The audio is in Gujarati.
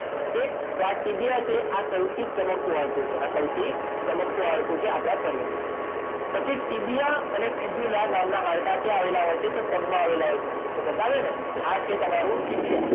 ઓકે તો આ ટીબીયા છે આ સૌથી ચમકતું હાડકું છે આ સૌથી ચમકતું હાડકું છે આપડાં શરીરનું પછી ટીબીયા અને ફીબ્યુલા નામના હાડકાં ક્યાં આવેલા હોય છે તો પગમાં આવેલા હોય છે મેં બતાવ્યા ને આ છે તમારું ટીબીયા